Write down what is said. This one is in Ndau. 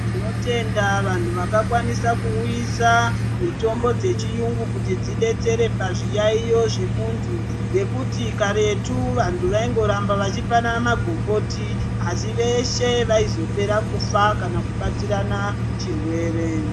Tinotenda vanthu vakakwanisa kuuyisa mitombo dzechiyungu kuti dzidetsere pazviyaeyo zvemunthu ngekuti karetu vanthu vaingoramba vachipanana magomboti asi veshe vaizopera kufa kana kubatsirana chirwere.